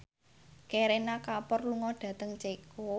Kareena Kapoor lunga dhateng Ceko